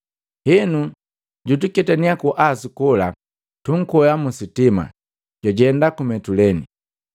Henu, jutuketania ku Asu kola, tunkwea musitima, twajenda ku Mituleni.